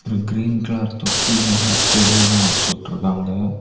Green colour தொட்டில செடி எல்லா வச்சு விட்டுருக்காங்க.